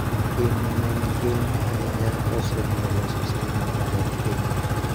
Pi ma ne ni piny ahinya osemiyo loso sitima odok piny.